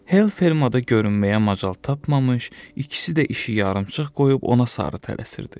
Hell fermada görünməyə macal tapmamış, ikisi də işi yarımçıq qoyub ona sarı tələsirdi.